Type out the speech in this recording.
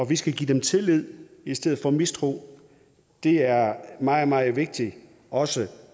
vi skal give dem tillid i stedet for mistro det er meget meget vigtigt også